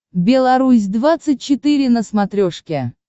белорусь двадцать четыре на смотрешке